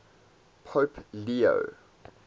pope leo